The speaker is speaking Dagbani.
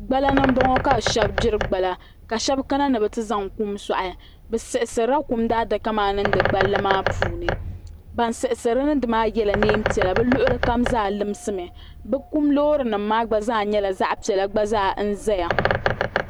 Gbala ni m bɔŋɔ ka shɛbi gbiri gbala ka shɛbi kana ni bɛ ti zaŋ kum sɔɣi bɛ siɣisirila kum daadaka maa n niŋdi gballi maa puuni ban siɣisiri niŋdi maa yɛla neen piɛla bɛ luɣulikam zaa limsimi bɛ kum loorinima maa gba zaa nyɛla zaɣ piɛla gba zaa n zaya